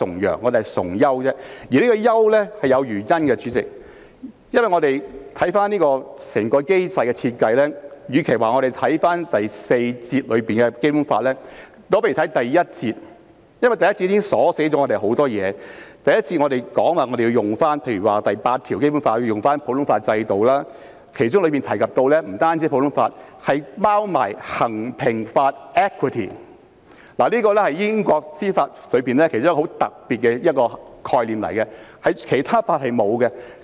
主席，優是有原因的，關於這個機制的設計，與其說我們要看《基本法》第四章第四節，不如看第一章，因為第一章已鎖定了很多事項，例如根據《基本法》第八條，我們要採用普通法制度，其中提及的不單有普通法，還有衡平法，這是英國司法其中一個很特別的概念，其他法系是沒有的。